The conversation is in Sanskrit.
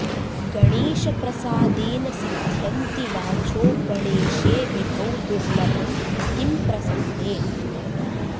गणेशप्रसादेन सिध्यन्ति वाचो गणेशे विभौ दुर्लभं किं प्रसन्ने